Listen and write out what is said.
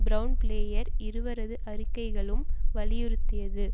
Brown Blair இருவரது அறிக்கைகலும் வலியுறுத்தியது